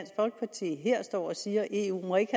folkeparti her står og siger at eu ikke